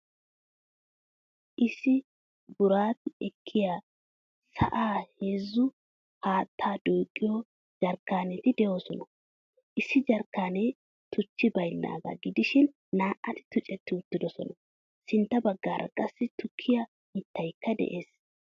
Issi buuratti ekkiyaa sa'an heezzu haattaa duqiyo jarkkanetti deosona. Issi jarkkaanne tuchchi baynnaga gidishin naa'ati tuccetti uttidosona. Sintta baggaara qassi tukkiyaa mittaykka de'ees.